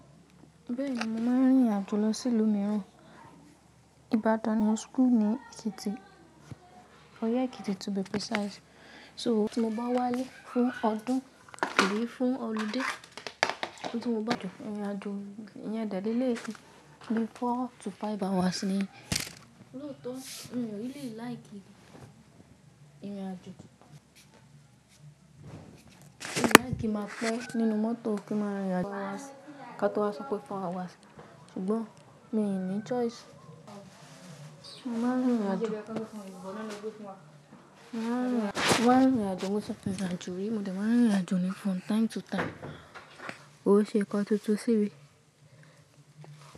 Bẹ́ẹ̀ni, mo máa ń rìnrìn àjò lọ sí ìlú mìíràn. Ìbàdàn mo n school ni Èkìtì, Ọ̀yẹ́ Èkìtì to be precise. So tí mo bá wálé fún ọdún tàbí fún ọlidé, tí mo Ibadan irìn àjò iyẹn dẹ leleyi bi four to five hours ni. Lóòótọ́ mi ò really like irìn àjò. Mi ò like ki máa pé nínú mọ́tò ki n máa rìnrìn àjò, four hours, kató wasọ pé four hours. Ṣùgbọ́n mi ò ní choice. Mo máa ń rìnrìn àjò. Mo máa ń rìnrìn àjò. Mo ti rinrin ajo ri, mo dà máa ń rìnrìn àjò ní from time to time. Kòn ṣe nkan túntùn símí.